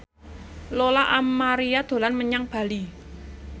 Lola Amaria dolan menyang Bali